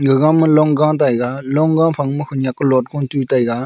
gaga man long ga taiga long ga phaing ma khenek a low taiga.